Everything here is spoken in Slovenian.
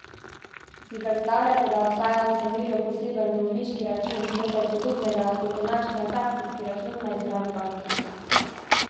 Si predstavljate, da obstaja v vsemirju poseben dolžniški račun, nekaj podobnega, kot je naš transakcijski račun na izbrani banki?